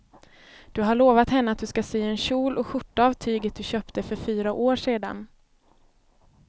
Du har lovat henne att du ska sy en kjol och skjorta av tyget du köpte för fyra år sedan.